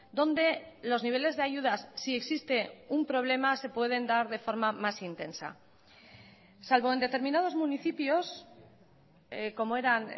donde los niveles de ayudas si existe un problema se pueden dar de forma más intensa salvo en determinados municipios como eran